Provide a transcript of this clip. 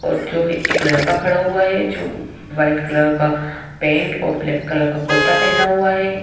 जो एक लड़का खड़ा हुआ है जो वाइट कलर का पेंट और ब्लैक कलर का कुर्ता पहना हुआ है।